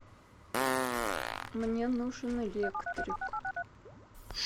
мне нужен электрик